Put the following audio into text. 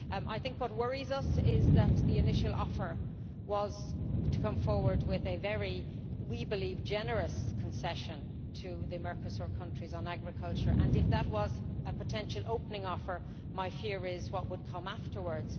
I think what worries us is that the initial offer was to come forward with a very we believe generous concession to the Mercosur countries on agriculture, and if that was a potential opening offer my fear is what would come afterwards.